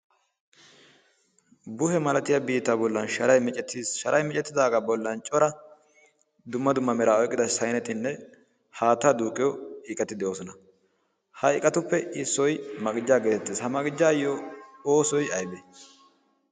Buhe malatiya biittaa bollan sharay micettiis. Sharay micettidaagaa bollan cora dumma dumma meraa oyqqida saynetinne haattaa duuqqiyo iqati de'oosona. Ha iqatuppe issoy maqijjaa geetettees. Maqijjaayyo oosoy aybee?